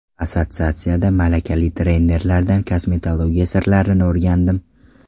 Assotsiatsiyada malakali trenerlardan kosmetologiya sirlarini o‘rgandim.